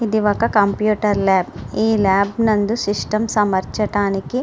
ఇది ఒక computer lab . ఈ ల్యాబ్ నందు సిస్టమ్స్ అమర్చటానికి --